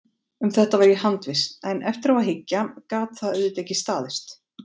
Um þetta var ég handviss, en eftir á að hyggja gat það auðvitað ekki staðist.